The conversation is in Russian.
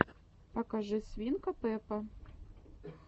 покажи свинка пеппа